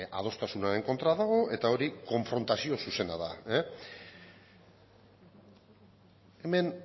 adostasunaren kontra dago eta hori konfrontazio zuzena da hemen